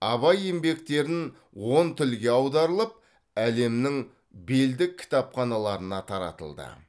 абай еңбектерін он тілге аударылып әлемнің белді кітапханаларына таратылды